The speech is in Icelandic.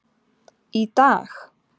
Í DAG!